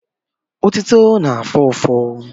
Otito na-afụ ụfụ.